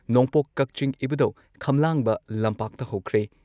ꯅꯣꯡꯄꯣꯛ ꯀꯛꯆꯤꯡ ꯏꯕꯨꯙꯧ ꯈꯝꯂꯥꯡꯕ ꯂꯝꯄꯥꯛꯇ ꯍꯧꯈ꯭ꯔꯦ